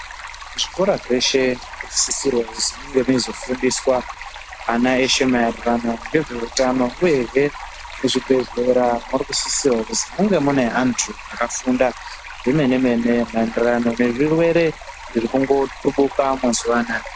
Zvikora zveshe zvinosisirwa kuzi munge meizofundiswa ana eshe maererano ngezveutano. Uyehe muzvibhedhlera murikusisirwa kuzi munge mune antu akafunda zvemene-mene maererano nezvirwere zvirikungotubuka mazuva anaaya.